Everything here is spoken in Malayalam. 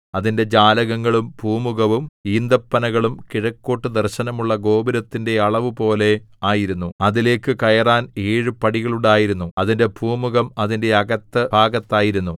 അതിന്റെ ജാലകങ്ങളും പൂമുഖവും ഈന്തപ്പനകളും കിഴക്കോട്ടു ദർശനമുള്ള ഗോപുരത്തിന്റെ അളവുപോലെ ആയിരുന്നു അതിലേക്ക് കയറാൻ ഏഴു പടികൾ ഉണ്ടായിരുന്നു അതിന്റെ പൂമുഖം അതിന്റെ അകത്ത് ഭാഗത്തായിരുന്നു